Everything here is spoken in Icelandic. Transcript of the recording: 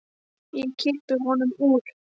Og ég kippi honum upp úr.